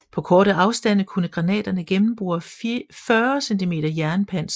På korte afstande kunne granaterne gennembore 40 cm jernpanser